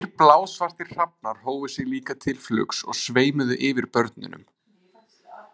Tveir blásvartir hrafnar hófu sig líka til flugs og sveimuðu yfir börnunum.